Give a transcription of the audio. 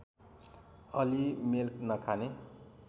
अलि मेल नखाने